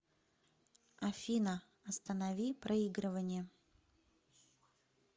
афина останови проигрывание